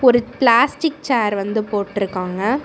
ஒரு plastic chair வந்து போட்ருக்காங்க.